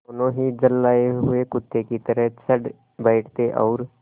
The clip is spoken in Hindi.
दोनों ही झल्लाये हुए कुत्ते की तरह चढ़ बैठते और